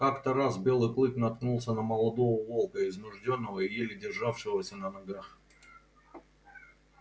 как-то раз белый клык наткнулся на молодого волка измождённого и еле державшегося на ногах